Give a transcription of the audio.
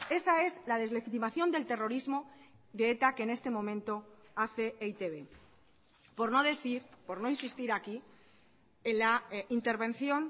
esa es la deslegitimación del terrorismo de eta que en este momento hace e i te be por no decir por no insistir aquí en la intervención